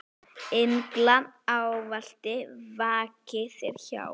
Englar ávallt vaki þér hjá.